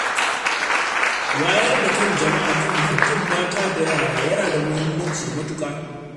Wayar da kan jama’a kan haƙƙin mata da yara yana da mahimmanci matuƙa.